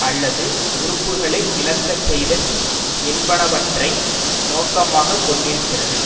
அல்லது உறுப்புக்களை இழக்க செய்தல் என்பனவற்றை நோக்கமாக கொண்டிருந்தது